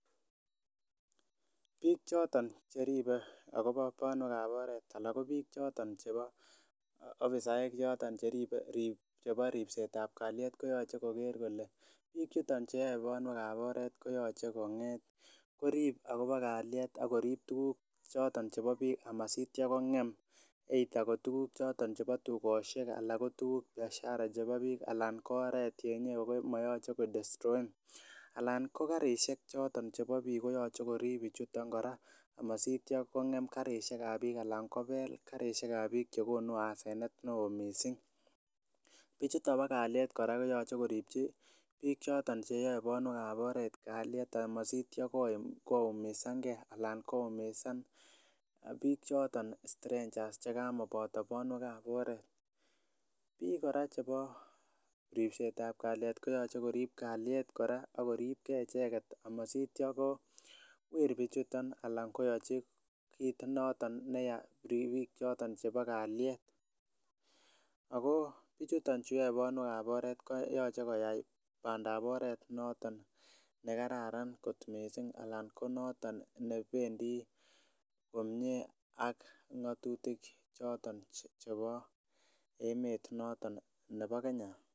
Biik choton cheribe akobo bonwek ab oret anan ko biik choton chebo afisaek choton cheribe chebo ripset ab kalyet koyoche koker kole biik chuton chuyoe bonwek ab oret koyoche kong'et koriib akobo kalyet akorib tuguk choton chebo biik amasitya kong'em either ko tuguk choton chebo tugosiek anan ko tuguk biashara chebo biik anan ko oret ne moyoche kodestroen alan ko karisiek choton chebo biik koyoche koriib bichuton kora amositya kong'em karisiek ab biik ana kobeel karisiek ab biik chekonu asenet neoo missing. Bichuton bo kalyet kora koyoche koripchi biik choton cheyoe bonwek ab oret kalyet amasitya koumisangee alan koumisan biik choton strangers chekamoboto bonwek ab oret. Biik kora chebo ripset ab kalyet koyoche koriib kalyet kora akorib gee icheket amasitya kowir bichuton ana koyochi kit noton neyaa ribiik choton chebo kalyet ako bichuton cheyoe bonwek ab oret koyoche koyai bandap oret noton nekararan kot missing anan ko noton nebendii komie ak ng'otutik choton chebo emet noton nebo Kenya